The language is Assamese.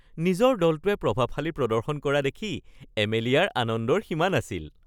নিজৰ দলটোৱে প্ৰভাৱশালী প্ৰদৰ্শন কৰা দেখি এমেলিয়াৰ আনন্দৰ সীমা নাছিল